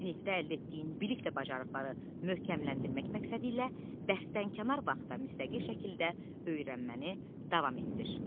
Sinfdə əldə etdiyin bilik və bacarıqları möhkəmləndirmək məqsədilə dərsdənkənar vaxtda müstəqil şəkildə öyrənməni davam etdir.